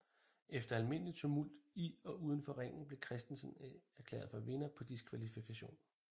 Efter almindelig tumult i og udenfor ringen blev Christensen erklæret for vinder på diskvalifikation